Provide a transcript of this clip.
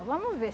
vamos ver.